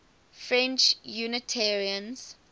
french unitarians